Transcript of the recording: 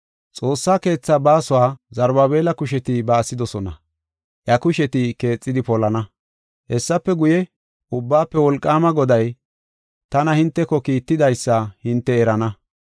“Xoossaa keetha baasuwa Zarubaabela kusheti baasidosona; iya kusheti keexidi polana. Hessafe guye, Ubbaafe Wolqaama Goday tana hinteko kiittidaysa hinte erana.